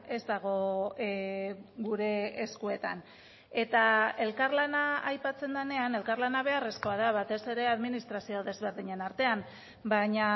ez dago gure eskuetan eta elkarlana aipatzen denean elkarlana beharrezkoa da batez ere administrazio desberdinen artean baina